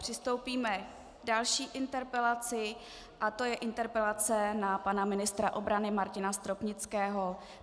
Přistoupíme k další interpelaci a to je interpelace na pana ministra obrany Martina Stropnického.